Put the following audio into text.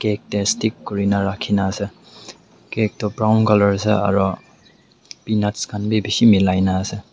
cake tae stick kurina rakhina ase cake toh brown colour ase aro peanuts khan bi bishi milai na ase.